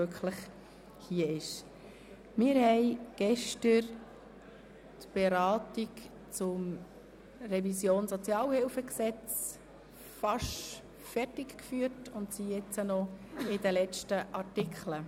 Wir haben gestern die Beratung über die Revision des Sozialhilfegesetzes (SHG) fast zu Ende geführt und befassen uns nun mit den letzten Artikeln.